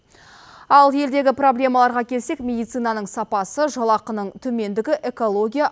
ал елдегі проблемаларға келсек медицинаның сапасы жалақының төмендігі экология